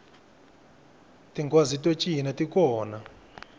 tinghwazi to cina ti kona